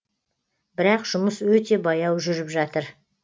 бірақ жұмыс өте баяу жүріп жатыр